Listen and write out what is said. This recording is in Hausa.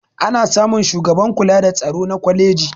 ana samun shugaban kula da tsaro na kwaleji